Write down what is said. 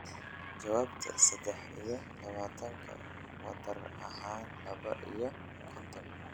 jawaabta saddex iyo labaatanka wadar ahaan laba iyo konton